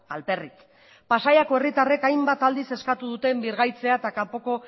alperrik pasaiako herritarrek hainbat aldiz eskatu duten birgaitzea eta kanpoko